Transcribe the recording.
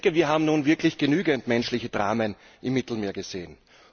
Wir haben nun wirklich genügend menschliche Dramen im Mittelmeer gesehen.